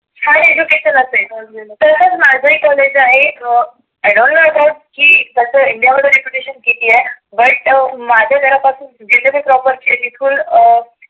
hard education असेल. तसच माझ ही कॉलेज आहे. I don't know about की त्याच इंडिया मध्ये रेप्युटेशन किती आहे. but माझ्या घरा पासून जीतके पण proper चे आहेत बिलकुल अं